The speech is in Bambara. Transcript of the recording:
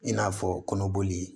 I n'a fɔ kɔnɔboli